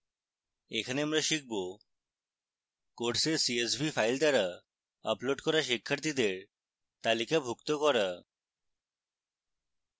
এখানে আমরা শিখব: course csv file দ্বারা আপলোড করা শিক্ষার্থীদের তালিকাভুক্ত করা